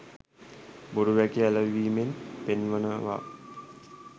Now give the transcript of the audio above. බොරු වැකි ඇලවීමෙන් පෙන්වනවා